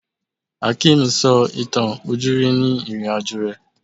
Hakeem sọ ìtàn ojúrí ni ìrìn-àjò rẹ̀